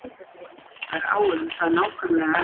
Heimspekinga greinir hinsvegar á um það nákvæmlega